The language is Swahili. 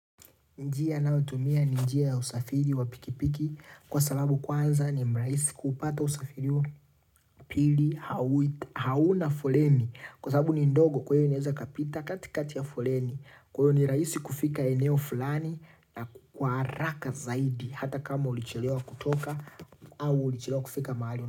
Njia ninayo tumia ni njia ya usafiri wa pikipiki kwa sababu kwanza ni mrahisi kuupata usafiri huo. Pili hauna foleni kwa sababu ni ndogo kwa hiyo inaweza ikapita katikati ya foleni. Kwa hiyo ni rahisi kufika eneo fulani na kwa raka zaidi hata kama ulichilewa kutoka au ulichilewa kufika mahali.